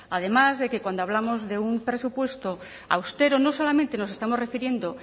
además que cuando hablamos de un presupuesto austero no solamente nos estamos refiriendo